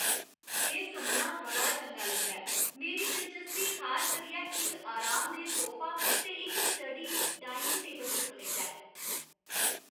एह् सुनना बड़ा चंगा लगदा ऐ! मेरी दिलचस्पी खास करियै इक आरामदेह सोफा ते इक स्टडी डाइनिंग टेबल तुप्पने च ऐ।